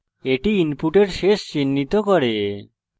এটি input শেষ চিহ্নিত করে